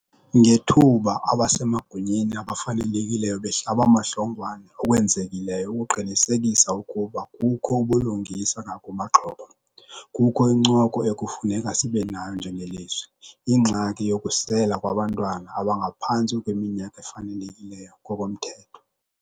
Ngethuba abasemagunyeni abafanelekileyo behlabamahlongwane okwenzekileyo ukuqinisekisa ukuba kukho ubulungisa ngakumaxhoba, kukho incoko ekufuneka sibenayo njengelizwe. Ingxaki yokusela kwabantwana abangaphantsi kweminyaka efanelekileyo ngokomthetho.